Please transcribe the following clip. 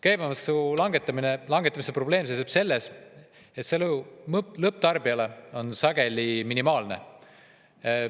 Käibemaksu langetamise probleem seisneb selles, et mõju lõpptarbijale on sageli minimaalne.